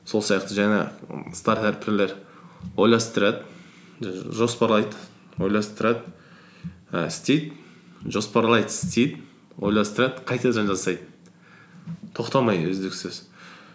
сол сияқты жаңағы стартаперлер ойластырады жоспарлайды ойластырады і істейді жоспарлайды істейді ойластырады қайтадан жасайды тоқтамай үздіксіз